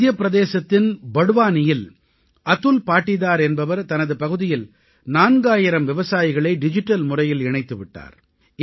மத்திய பிரதேசத்தின் பட்வானியில் அதுல் பாடீதார் என்பவர் தனது பகுதியில் 4000 விவசாயிகளை டிஜிட்டல் முறையில் இணைத்து விட்டார்